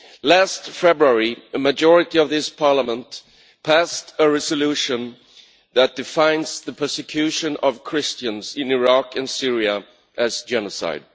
Last February, a majority of this Parliament passed a resolution that defines the persecution of Christians in Iraq and Syria as genocide.